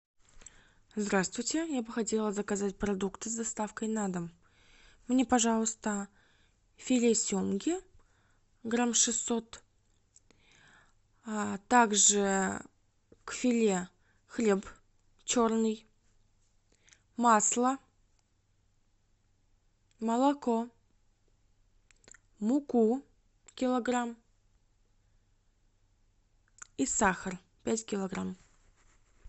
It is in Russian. здравствуйте я бы хотела заказать продукты с доставкой на дом мне пожалуйста филе семги грамм шестьсот также к филе хлеб черный масло молоко муку килограмм и сахар пять килограмм